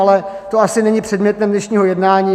Ale to asi není předmětem dnešního jednání.